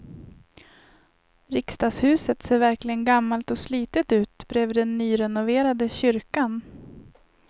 Riksdagshuset ser verkligen gammalt och slitet ut bredvid den nyrenoverade kyrkan.